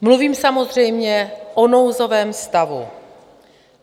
Mluvím samozřejmě o nouzovém stavu.